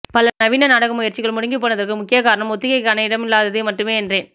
பல நவீன நாடக முயற்சிகள் முடங்கிப் போனதற்கு முக்கிய காரணம் ஒத்திகைக்கான இடம் இல்லாதது மட்டுமே என்றேன்